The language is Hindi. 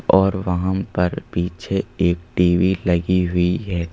और वहां पर पीछे एक टीवी लगी हुई है।